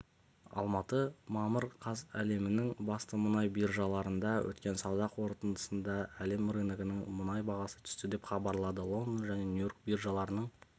алматы мамыр қаз әлемнің басты мұнай биржаларында өткен сауда қортындысында әлем рыногындағы мұнай бағасы түсті деп хабарлады лондон және нью-йорк биржаларының